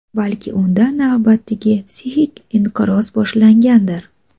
Balki unda navbatdagi psixik-inqiroz boshlangandir?